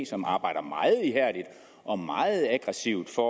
som arbejder meget ihærdigt og meget aggressivt for